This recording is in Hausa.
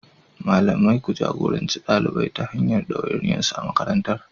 Malamai, ku jagoranci ɗalibai ta hanyar ɗawainiyarsu a makarantar.